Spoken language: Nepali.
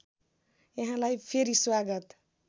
यहाँलाई फेरि स्वागत